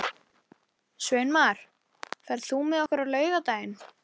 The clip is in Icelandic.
Sveinmar, ferð þú með okkur á laugardaginn?